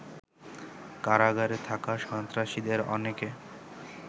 কারাগারে থাকা সন্ত্রাসীদের অনেকে